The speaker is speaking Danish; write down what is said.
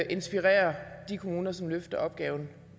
inspirerer de kommuner som løfter opgaven